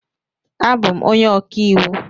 Abụ m onye ọka iwu.